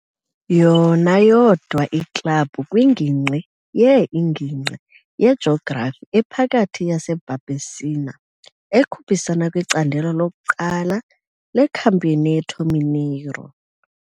Yona yodwa iklabhu kwiNgingqi ye-INgingqi yeJografi ePhakathi yaseBarbacena ekhuphisana kwiCandelo lokuQala leCampeonato Mineiro.